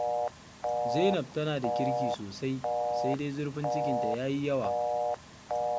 Zainab tana da kirki sosai, sai dai zurfin cikinta ya yi yawa